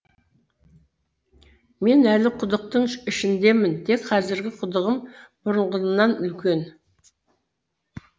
мен әлі құдықтың ішіндемін тек казіргі құдығым бұрынғымнан үлкен